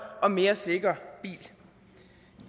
og mere sikker bil